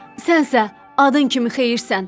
Sənsə adın kimi xeyirsən.